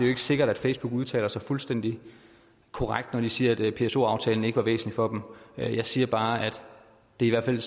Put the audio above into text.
er sikkert at facebook udtaler sig fuldstændig korrekt når de siger at pso aftalen ikke var væsentlig for dem jeg siger bare at det i hvert fald